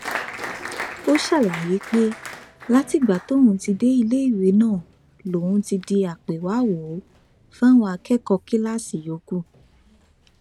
ó ṣàlàyé pé látìgbà tóun ti dé iléèwé náà lòun ti di àpéwàáwò fáwọn akẹkọọ kíláàsì yòókù